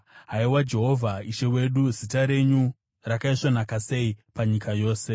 Haiwa Jehovha, Ishe wedu, zita renyu rakaisvonaka sei panyika yose!